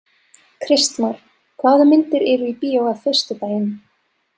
Kristmar, hvaða myndir eru í bíó á föstudaginn?